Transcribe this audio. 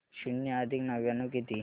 शून्य अधिक नव्याण्णव किती